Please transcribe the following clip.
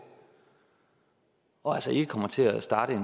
og altså ikke kommer til at starte